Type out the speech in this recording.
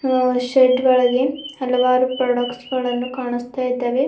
ಅ shed ಒಳಗೆ ಹಲವಾರು products ಗಳನ್ನು ಕಾಣಿಸ್ತಾ ಇದ್ದಾವೆ.